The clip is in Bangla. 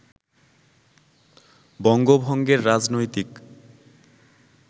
বঙ্গভঙ্গের রাজনৈতিক